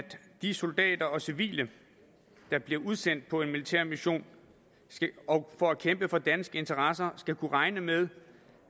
de soldater og civile der bliver udsendt på en militær mission for at kæmpe for danske interesser skal kunne regne med